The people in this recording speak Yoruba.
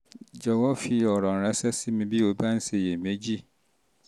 jọ̀wọ́ fi jọ̀wọ́ fi ọ̀rọ̀ ránṣẹ́ sí mi bí o bá ń ṣiyèméjì